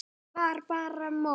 Var bara mottó.